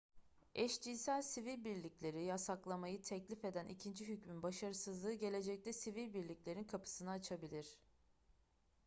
eşcinsel sivil birlikleri yasaklamayı teklif eden ikinci hükmün başarısızlığı gelecekte sivil birliklerin kapısını açabilir